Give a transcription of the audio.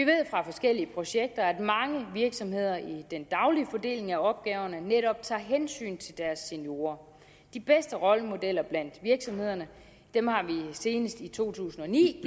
forskellige projekter at mange virksomheder i den daglige fordeling af opgaverne netop tager hensyn til deres seniorer de bedste rollemodeller blandt virksomhederne har vi senest i to tusind og ni